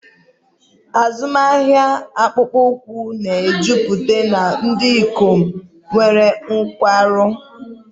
Azụmahịa akpụkpọ ụkwụ na-ejupụta na ndị ikom nwere nkwarụ.